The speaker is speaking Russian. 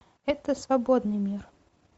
это свободный мир